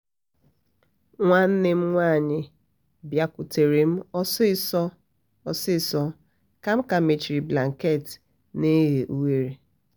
emehere m anya ozugbo mara na onwere ihe mere nu